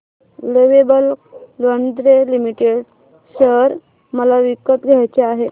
lovable lingerie limited share मला विकत घ्यायचे आहेत